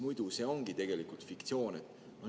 Muidu see ongi tegelikult fiktsioon.